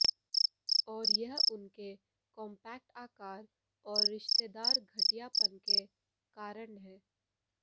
और यह उनके कॉम्पैक्ट आकार और रिश्तेदार घटियापन के कारण है